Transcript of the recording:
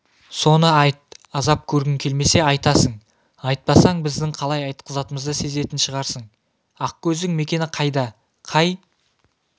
соны айт азап көргің келмесе айтасың айтпасаң біздің қалай айтқызатынымызды сезетін шығарсың ақкөздің мекені қайда қай